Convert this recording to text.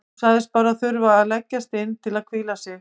Hún sagðist bara þurfa að leggjast inn til að hvíla sig.